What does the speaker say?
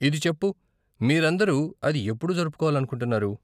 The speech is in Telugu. ఇది చెప్పు, మీరందరూ అది ఎప్పుడు జరుపుకోవాలనుకుంటున్నారు?